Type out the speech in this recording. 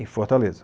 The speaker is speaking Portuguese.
Em Fortaleza.